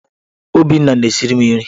Obinna na-esiri m nri.